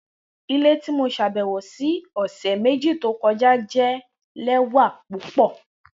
Ile ti mo ṣabẹwo si ọsẹ meji to kọja jẹ lẹwa pupọ